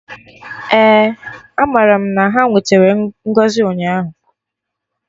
Eh, amaram na ha nwetere ngọzi ụnyaahụ